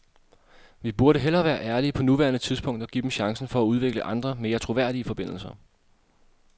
Vi burde hellere være ærlige på nuværende tidspunkt og give dem chancen for at udvikle andre, mere troværdige forbindelser.